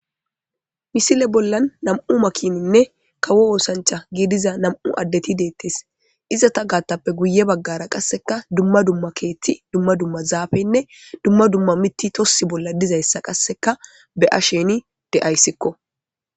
misile bollan nam'u makininne kawo oosancha giidiza nam'u addeti deettes izata gaattappe guye baggara qasseka dumma dumma keethti dumma dumma zaafenne dumma dumma mitti tossi bolla dizayssa qasseka be7a sheni de'ayssikko